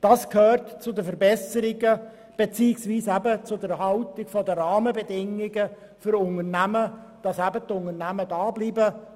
Das gehört zu den Rahmenbedingungen für Unternehmen, damit diese hierbleiben.